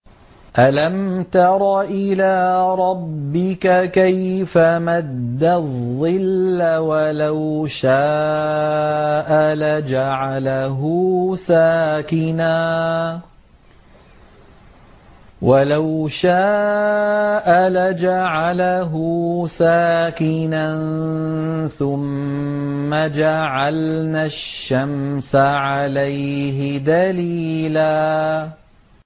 أَلَمْ تَرَ إِلَىٰ رَبِّكَ كَيْفَ مَدَّ الظِّلَّ وَلَوْ شَاءَ لَجَعَلَهُ سَاكِنًا ثُمَّ جَعَلْنَا الشَّمْسَ عَلَيْهِ دَلِيلًا